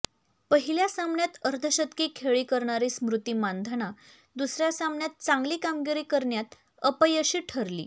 पहिल्या सामन्यात अर्धशतकी खेळी करणारी स्मृती मानधना दुसऱ्या सामन्यात चांगली कामगिरी करण्यात अपयशी ठरली